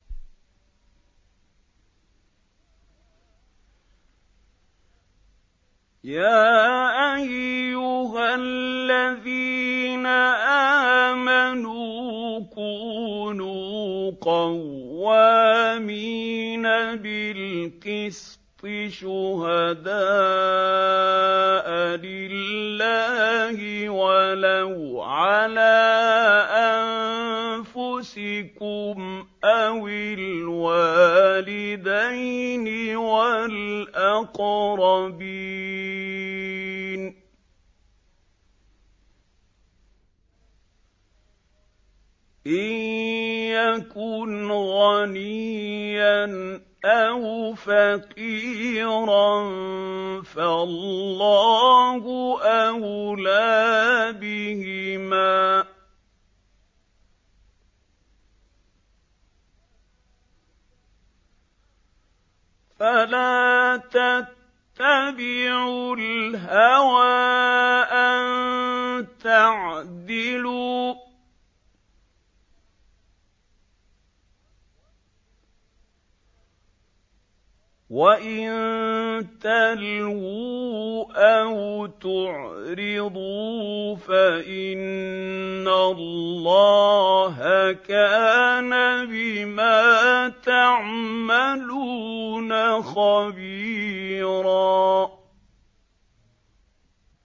۞ يَا أَيُّهَا الَّذِينَ آمَنُوا كُونُوا قَوَّامِينَ بِالْقِسْطِ شُهَدَاءَ لِلَّهِ وَلَوْ عَلَىٰ أَنفُسِكُمْ أَوِ الْوَالِدَيْنِ وَالْأَقْرَبِينَ ۚ إِن يَكُنْ غَنِيًّا أَوْ فَقِيرًا فَاللَّهُ أَوْلَىٰ بِهِمَا ۖ فَلَا تَتَّبِعُوا الْهَوَىٰ أَن تَعْدِلُوا ۚ وَإِن تَلْوُوا أَوْ تُعْرِضُوا فَإِنَّ اللَّهَ كَانَ بِمَا تَعْمَلُونَ خَبِيرًا